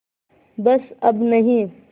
बस अब नहीं